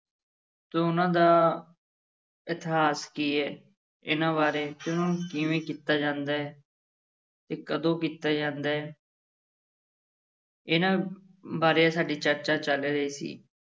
ਤੇ ਉਹਨਾਂ ਦਾ ਇਤਿਹਾਸ ਕੀ ਹੈ ਇਹਨਾਂ ਬਾਰੇ ਕਿਵੇਂ ਕੀਤਾ ਜਾਂਦਾ ਹੈ ਤੇ ਕਦੋਂ ਕੀਤਾ ਜਾਂਦਾ ਹੈ ਇਹਨਾਂ ਬਾਰੇ ਸਾਡੀ ਚਰਚਾ ਚੱਲ ਰਹੀ ਸੀ।